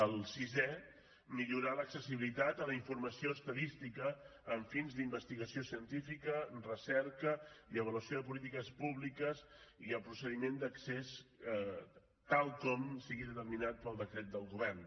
el sisè millorar l’accessibilitat a la informació estadística amb fins d’investigació científica recerca i avaluació de polítiques públiques i el procediment d’accés tal com sigui determinat pel decret del govern